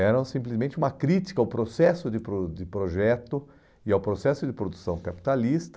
Eram simplesmente uma crítica ao processo de pro de projeto e ao processo de produção capitalista